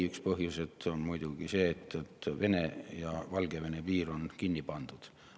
Üks põhjuseid on muidugi see, et Vene ja Valgevene piir on kinni pandud.